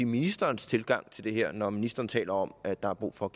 ministerens tilgang til det her når ministeren taler om at der er brug for